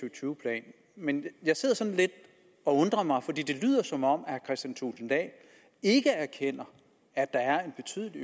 og tyve plan men jeg sidder sådan lidt og undrer mig for det lyder som om herre kristian thulesen dahl ikke erkender at der er en betydelig